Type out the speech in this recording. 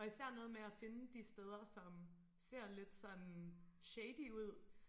Og især noget med at finde de steder som ser lidt sådan shady ud